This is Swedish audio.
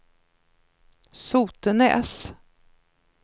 Sotenäs